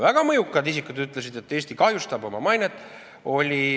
Väga mõjukad isikud ütlesid, et Eesti kahjustab oma mainet.